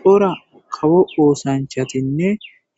cora kawo oosanchatinne